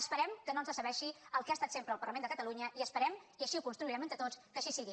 esperem que no ens decebi el que ha estat sempre el parlament de catalunya i esperem i així ho construirem entre tots que així sigui